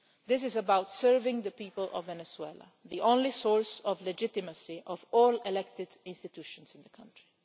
This is about serving the people of Venezuela, the only source of legitimacy of all elected institutions in the country.